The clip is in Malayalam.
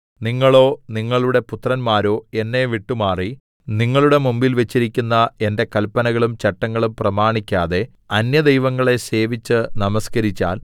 നിങ്ങളോ നിങ്ങളുടെ പുത്രന്മാരോ എന്നെ വിട്ടുമാറി നിങ്ങളുടെ മുമ്പിൽ വെച്ചിരിക്കുന്ന എന്റെ കല്പനകളും ചട്ടങ്ങളും പ്രമാണിക്കാതെ അന്യദൈവങ്ങളെ സേവിച്ച് നമസ്കരിച്ചാൽ